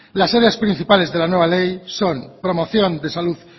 las áreas principales de la nueva ley son promoción de salud